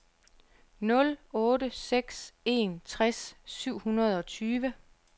nul otte seks en tres syv hundrede og tyve